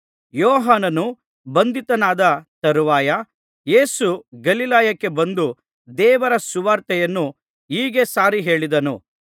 ಯೋಹಾನನು ಬಂಧಿತನಾದ ತರುವಾಯ ಯೇಸು ಗಲಿಲಾಯಕ್ಕೆ ಬಂದು ದೇವರ ಸುವಾರ್ತೆಯನ್ನು ಹೀಗೆ ಸಾರಿ ಹೇಳಿದನು